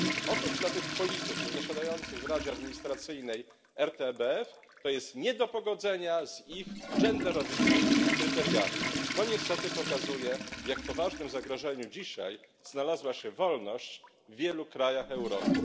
Otóż dla tych polityków zasiadających w Radzie Administracyjnej RTBF to jest nie do pogodzenia z ich genderowymi kryteriami to niestety pokazuje w jak poważnym zagrożeniu dzisiaj znalazła się wolność w wielu krajach Europy.